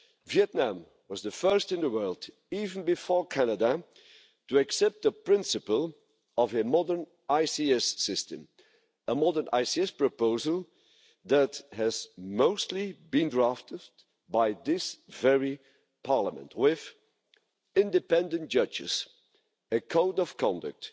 Vietnam was the first in the world, even before Canada, to accept the principle of a modern investment court system a modern ICS proposal that has mostly been drafted by this very Parliament with independent judges, a code of conduct,